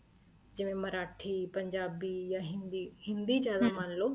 ਜਿਵੇਂ ਮਰਾਠੀ ਪੰਜਾਬੀ ਜਾਂ ਹਿੰਦੀ ਹਿੰਦੀ ਜਿਆਦਾ ਮੰਨਲੋ